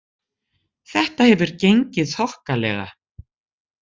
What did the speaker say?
Þetta hefur gengið þokkalega